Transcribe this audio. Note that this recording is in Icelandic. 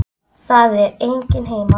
Það er enginn heima.